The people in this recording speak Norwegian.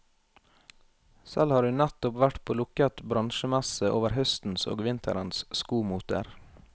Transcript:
Selv har hun nettopp vært på lukket bransjemesse over høstens og vinterens skomoter.